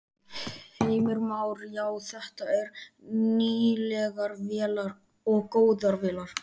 Heimir Már: Já, þetta eru nýlegar vélar og góðar vélar?